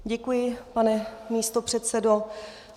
Děkuji, pane místopředsedo.